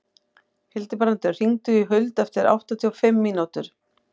Hildibrandur, hringdu í Huld eftir áttatíu og fimm mínútur.